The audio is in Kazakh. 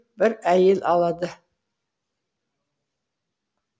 бір әйел алады